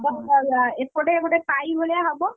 ଏପଟେ ଗୋଟେ ପାଇ ଭଳିଆ ହବ।